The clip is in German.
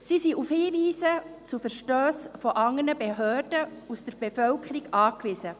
Sie sind auf Hinweise auf Verstösse durch andere Behörden oder durch die Bevölkerung angewiesen.